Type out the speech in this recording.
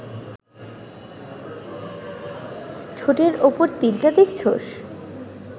ঠোঁটের ওপরের তিলটা দেখছস